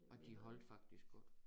Og de holdte faktisk godt